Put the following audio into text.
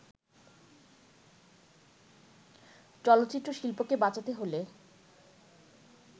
চলচ্চিত্রশিল্পকে বাঁচাতে হলে